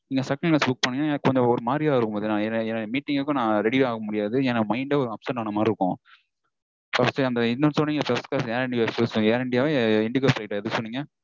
Second class book பண்ணிங்கனா எனக்கு கொஞ்சம் ஒரு மாதிரியா இருக்கும் பாத்தீங்கனா. எனக்கு meeting அப்போ நா ready யே ஆக முடியாது. ஏன்னா mind -ஏ ஒரு upset ஆன மாதிரி இருக்கும்